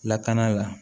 Lakana la